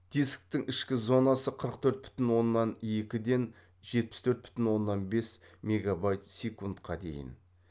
дисктің ішкі зонасы қырық төрт бүтін оннан екіден жетпіс төрт бүтін оннан бес мегабайт секундқа дейін